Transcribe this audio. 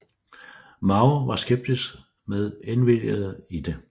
Mao var skeptisk med indvilligede i det